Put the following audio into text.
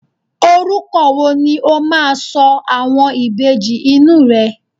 oruko wo ni o ma so àwọn Ìbejì inú rẹ